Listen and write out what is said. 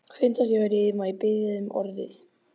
Fundarstjóri, má ég biðja um orðið?